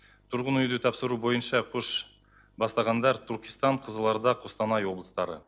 тұрғын үйді тапсыру бойынша көш бастағандар түркістан қызылорда қостанай облыстары